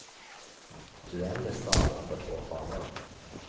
Duell i stad under två fanor.